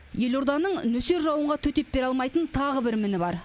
елорданың нөсер жауынға төтеп бере алмайтын тағы бір міні бар